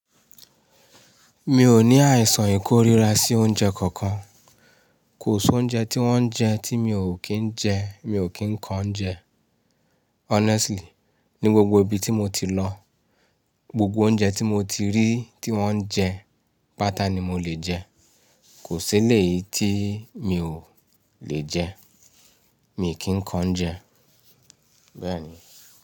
Mi ò ní àìsàn ìkórira sí oúnjẹ kankan. Kò sí oúnjẹ tí wọ́n ń jẹ tí mi ò kí ń jẹ, mi ò kí ń ko ounjẹ. Honestly, ní gbogbo ibi tí mo ti lọ, gbogbo oúnjẹ tí mo ti rí tí wọ́n ń jẹ, pàtá ni mo lè jẹ. Kò sí eleyìí tí mi ò lè jẹ, mii kì ń ko ounjẹ. Bẹ́ẹ̀ni.